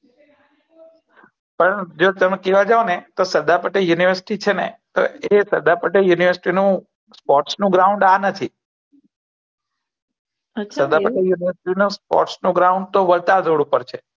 હવ je તમે કેહવા જાવ ને તો સરદાર પટેલ પોચ છે ને તો એ સરદાર પેટેલ university નું પોચ નું ગ્રોઉંન્દ એ નથી સરદાર પટેલ university નું પોચ નું ગ્રોઉંન્દ તો વટાગળ ઉપર છે